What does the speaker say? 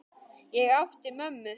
Ég átti mömmu.